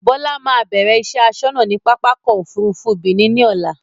Bọlá máa bẹ̀rẹ̀ iṣẹ́ asọ́nà ni pápákọ̀ Òfurufú Benin ni ọ̀la